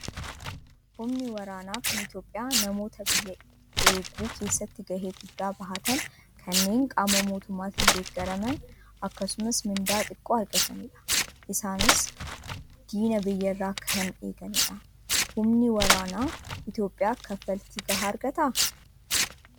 Humni waraanaa kan Itoophiyaa namoota biyya eeguu keessatti gahee guddaa bahatan kanneen qaama mootummaatiin deeggaraman akkasumas mindaa xiqqoo argatanidha. Isaanis diina biyyarraa kan eeganidha. Humni waraanaa Itoophiyaa kaffaltii gahaa argataa?